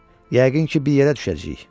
Yəqin ki, bir yerə düşəcəyik.